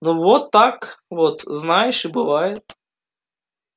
ну вот так вот знаешь и бывает